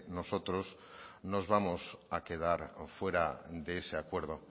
nos vamos a quedar fuero de ese acuerdo